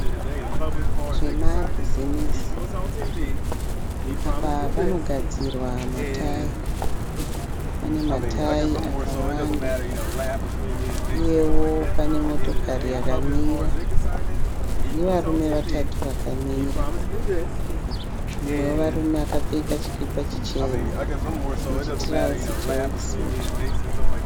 Zvemabusimusi, apo panogadzirwa matayira .Pane matayira akawanda uye pane motokari yamira nevarume vakamira mumwe akapfeka chikipa chitema netrouse yeworksuitu.